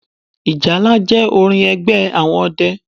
Ìjálá jẹ́ orin ẹgbẹ́ àwọn ọdẹ